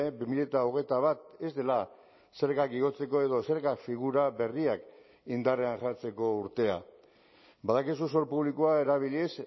bi mila hogeita bat ez dela zergak igotzeko edo zerga figura berriak indarrean jartzeko urtea badakizu zor publikoa erabiliz